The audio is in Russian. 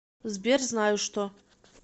сбер знаю что